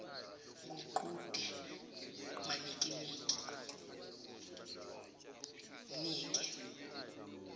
nguqhude manikiniki mnike